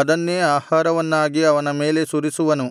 ಅದನ್ನೇ ಆಹಾರವನ್ನಾಗಿ ಅವನ ಮೇಲೆ ಸುರಿಸುವನು